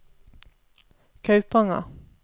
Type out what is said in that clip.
Kaupanger